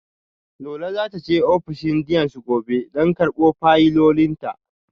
Lola za ta je ofishin deans gobe don karbo fayilolinta